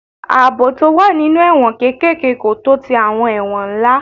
Ààbò tó wà nínú àwọn kéékèèké kò tó ti àwọn ẹ̀wọ̀n ńlá.